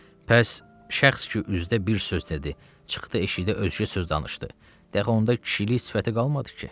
Bəs, şəxs ki üzdə bir söz dedi, çıxdı eşikdə özgə söz danışdı, dəxi onda kişilik sifəti qalmadı ki?